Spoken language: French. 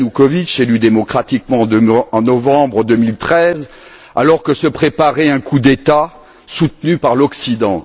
Ianoukovitch, élu démocratiquement en novembre 2013, alors que se préparait un coup d'État soutenu par l'Occident?